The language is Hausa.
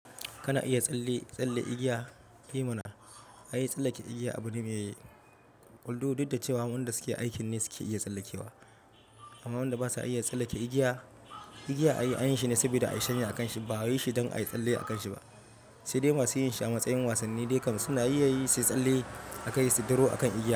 Kana iya tsalle, tsalle igiya? E mana, ayi tsallake igiya abu ne mai Un due cewa waɗanda suke aiki ne suke iya tsallekewa. Amma wadanda basa iya tsallake igiya, igiya ayi, anyin shi ne saboda a yi shanya a kan shi ba ayi shi don ayi tsalle a kan shi ba. Sai dai masu yin shi a matsayin wasanni dai kam suna iya yin sai tsalle a kai su tsiro akan igiyar.